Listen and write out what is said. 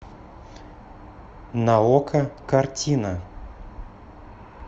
на окко картина